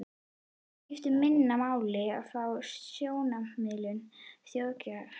Það skiptir minna máli frá sjónarmiði þjóðsagnafræðinnar.